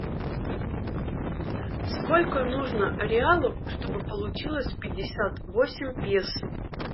сколько нужно реалов чтобы получилось пятьдесят восемь песо